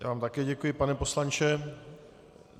Já vám také děkuji, pane poslanče.